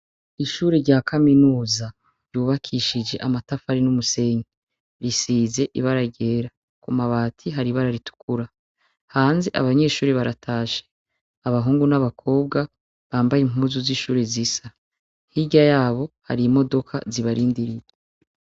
Ishuri rya kaminuza ryubakishije amatafari n'umusenge risize ibaragera ku mabati hari ibara ritukura hanze abanyeshuri baratashe abahungu n'abakobwa bambaye impuzu z'ishuri zisa hirya yabo hari imodoka zibarindirie.